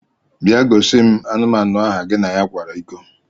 Bia gosim anụmanu ahụ gi na kwara iko!